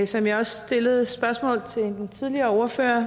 som jeg også stillede som spørgsmål til en tidligere ordfører er